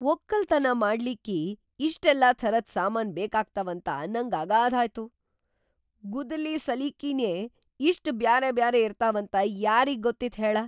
ಒಕ್ಕಲ್‌ತನಾ ಮಾಡ್ಲಿಕ್ಕಿ ಇಷ್ಟೆಲ್ಲಾ ಥರದ್ ಸಾಮಾನ್‌ ಬೇಕಾಗ್ತಾವಂತ ನಂಗ್ ಅಗಾಧಾಯ್ತು. ಗುದ್ದಲಿ ಸಲಿಕಿನೇ ಇಷ್ಟ್‌ ಬ್ಯಾರೆಬ್ಯಾರೆ ಇರ್ತಾವಂತ ಯಾರಿಗ್‌ ಗೊತ್ತಿತ್‌ ಹೇಳ?